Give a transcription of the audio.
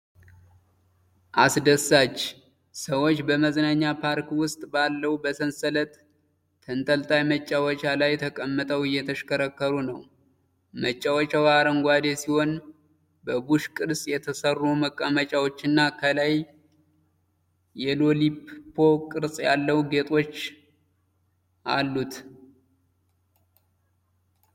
አስደሳች! ሰዎች በመዝናኛ ፓርክ ውስጥ ባለው በሰንሰለት ተንጠልጣይ መጫወቻ ላይ ተቀምጠው እየተሽከረከሩ ነው። መጫወቻው አረንጓዴ ሲሆን በቡሽ ቅርጽ የተሠሩ መቀመጫዎችና ከላይ የሎሊፖፕ ቅርጽ ያላቸው ጌጦች አሉት።